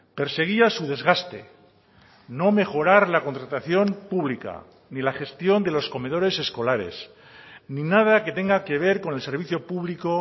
perseguía su desgaste no mejorar la contratación pública ni la gestión de los comedores escolares ni nada que tenga que ver con el servicio público